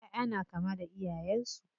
ƴaʼƴa na kama da iyayen su.